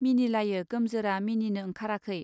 मिनिलायो गोमजोरा मिनिनो ओंखाराखै.